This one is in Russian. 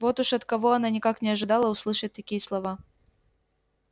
вот уж от кого она никак не ожидала услышать такие слова